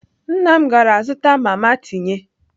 Nna m gara zụta mama tinye.